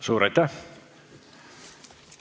Suur aitäh!